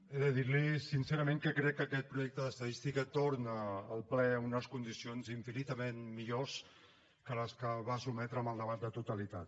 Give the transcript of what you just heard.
he de dir li sincerament que crec que aquest projecte d’estadística torna al ple en unes condicions infinitament millors que les que el va sotmetre amb el debat de totalitat